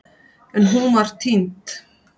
En hún var týnd.